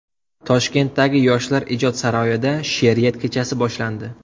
Toshkentdagi Yoshlar ijod saroyida she’riyat kechasi boshlandi.